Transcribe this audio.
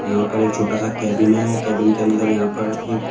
यहां पर एक छोटा सा केबिन है केबिन के अंदर यहां पर एक--